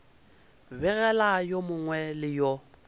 begela yo mongwe le yo